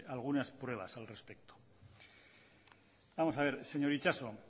algunas pruebas al respecto vamos a ver señor itxaso